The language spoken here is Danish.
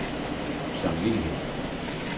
samvittighed